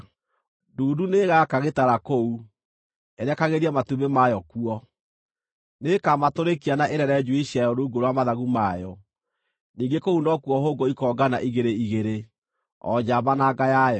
Ndundu nĩĩgaka gĩtara kũu, ĩrekagĩrie matumbĩ mayo kuo, nĩĩkamatũrĩkia na ĩrere njui ciayo rungu rwa mathagu mayo; ningĩ kũu nokuo hũngũ ikoongana igĩrĩ igĩrĩ, o njamba na nga yayo.